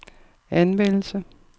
anvendelse